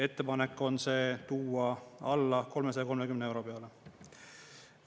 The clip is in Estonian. Ettepanek on see tuua alla 330 euro peale.